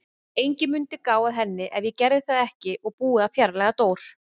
Enginn mundi gá að henni ef ég gerði það ekki og búið að fjarlægja Dór.